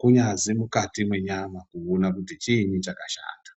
kunyazi mukati mwenyama kuona kuti chiinyi chakashata.